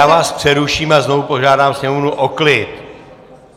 Já vás přeruším a znovu požádám Sněmovnu o klid!